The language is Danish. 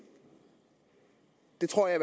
det tror jeg